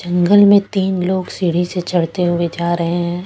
जंगल में तीन लोग सीढ़ी से चढ़ते हुए जा रहे हैं।